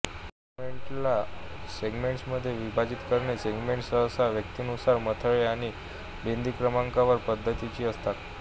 डॉक्यूमेंटला सेगमेंट्समध्ये विभाजीत करते सेगमेंट्स सहसा वाक्यानुसार मथळे आणि बिंदीक्रमांकन पद्धतीची असतात